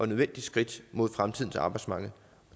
nødvendigt skridt mod fremtidens arbejdsmarked